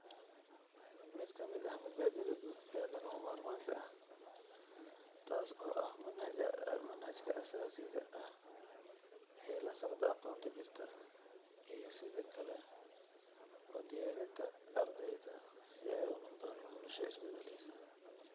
Mid ka mid ah mabaadi'da guud ee lagama maarmaanka ah, taas oo ah, manhajka asaasiga ah ee la socda aqoonta jirta, iyo sidoo kale u diyaarinta ardayda si ay u noqdaan bulsho isbedelaysa.